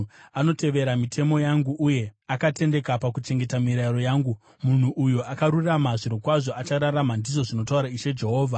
Anotevera mitemo yangu, uye akatendeka pakuchengeta mirayiro yangu. Munhu uyo akarurama; zvirokwazvo achararama, ndizvo zvinotaura Ishe Jehovha.